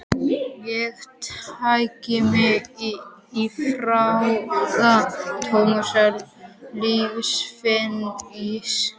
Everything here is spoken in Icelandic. Ég teygi mig í frakka Tómasar Leifs, finn ís